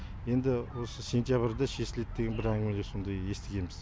енді осы сентябрьде шешіледі деген бір әңгімелер сондай естігеміз